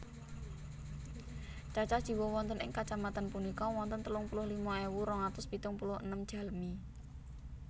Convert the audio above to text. Cacah jiwa wonten ing kacamatan punika wonten telung puluh lima ewu rong atus pitung puluh enem jalmi